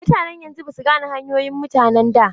Mutanen yanzu basu gane hanyoyin mutanen da.